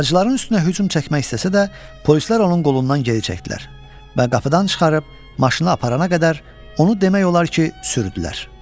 Bacıların üstünə hücum çəkmək istəsə də, polislər onun qolundan geri çəkdilər və qapıdan çıxarıb maşına aparana qədər onu demək olar ki, sürütlədilər.